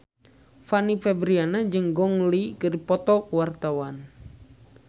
Fanny Fabriana jeung Gong Li keur dipoto ku wartawan